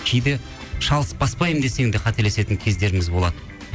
кейде шалыс баспаймын десең де қателесетін кездеріміз болады